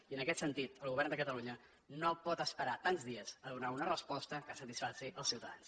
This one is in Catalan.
i en aquest sentit el govern de catalunya no pot esperar tants dies a donar una resposta que satisfaci els ciutadans